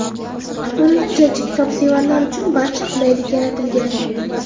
Kutubxonada jajji kitobsevarlar uchun barcha qulaylik yaratilgan.